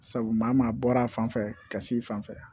Sabu maa maa bɔra a fan fɛ ka s'i fan fɛ